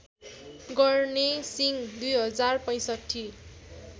गर्ने सिंह २०६५